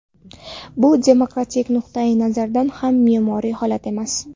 Bu demokratik nuqtayi nazardan ham me’yoriy holat emas.